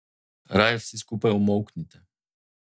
Raje vsi skupaj umolknite.